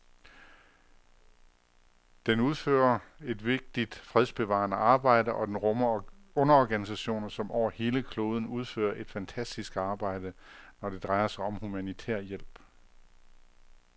Den udfører et vigtigt fredsbevarende arbejde, og den rummer underorganisationer, som over hele kloden udfører et fantastisk arbejde, når det drejer sig om humanitær hjælp.